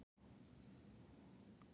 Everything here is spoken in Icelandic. Friðrikka, ferð þú með okkur á föstudaginn?